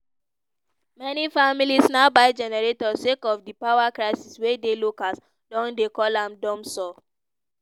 many families now buy generator sake of di power crisis wey di locals don dey call am "dumsor".